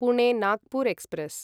Pune Nagpur express